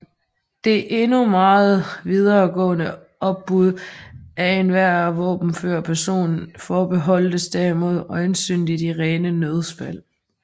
Det endnu meget videre gående opbud af enhver våbenfør person forbeholdtes derimod øjensynlig de rene nødsfald